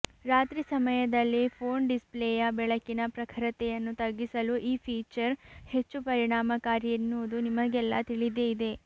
ರಾತ್ರಿ ಸಮಯದಲ್ಲಿ ಫೋನ್ ಡಿಸ್ಪ್ಲೇಯ ಬೆಳಕಿನ ಪ್ರಖರತೆಯನ್ನು ತಗ್ಗಿಸಲು ಈ ಫೀಚರ್ ಹೆಚ್ಚು ಪರಿಣಾಮಕಾರಿ ಎನ್ನುವುದು ನಿಮಗೆಲ್ಲಾ ತಿಳಿದೆ ಇದೆ